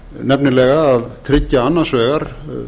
nefnilega að tryggja annars vegar